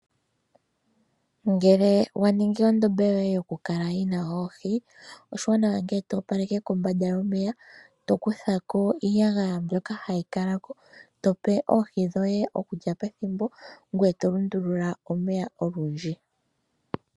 Ngele wa ningi ondombe yoye yoohi oshiwanawa oku kala to opaleke kombanda yomeya. To kutha ko iiyagaya mbyoka hayi kala ko tope oohi dhoye okulya pethimbo ngoye to lundulula omeya ethimbo olindji.